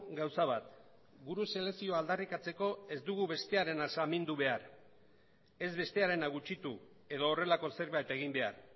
gauza bat gure selekzioa aldarrikatzeko ez dugu bestearena samindu behar ez bestearena gutxitu edo horrelako zerbait egin behar